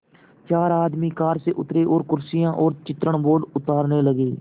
चार आदमी कार से उतरे और कुर्सियाँ और चित्रण बोर्ड उतारने लगे